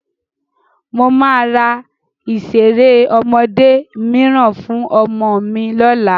Mo máa ra ìṣeré ọmọdé mìíràn fún ọmọ mi lọ́la.